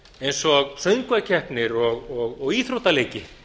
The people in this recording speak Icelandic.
eins og söngvakeppnir og íþróttaleiki